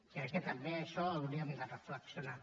crec que també això ho hauríem de reflexionar